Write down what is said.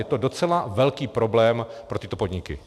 Je to docela velký problém pro tyto podniky.